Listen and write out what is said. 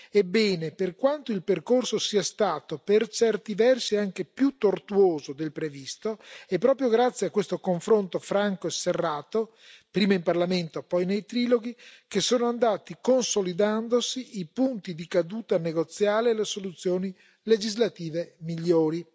Ebbene, per quanto il percorso sia stato per certi versi anche più tortuoso del previsto, è proprio grazie a questo confronto franco e serrato, prima in Parlamento poi nei triloghi, che sono andati consolidandosi i punti di caduta negoziale e le soluzioni legislative migliori.